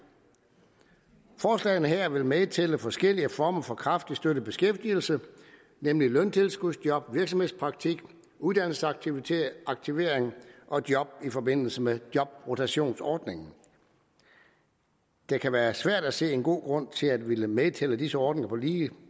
forslagene her vil medtælle forskellige former for kraftigt støttet beskæftigelse nemlig løntilskudsjob virksomhedspraktik uddannelsesaktivering og job i forbindelse med jobrotationsordningen det kan være svært at se en god grund til at ville medtælle disse ordninger på lige